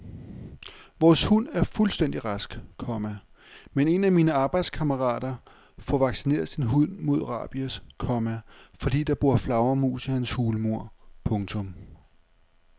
Vores hund er fuldstændig rask, komma men en af mine arbejdskammerater får vaccineret sin hund mod rabies, komma fordi der bor flagermus i hans hulmur. punktum